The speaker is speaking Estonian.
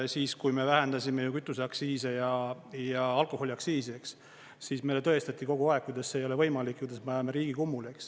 Siis, kui me vähendasime kütuseaktsiise ja alkoholiaktsiisi, siis meile tõestati kogu aeg, kuidas see ei ole võimalik, kuidas me ajame riigi kummuli, eks.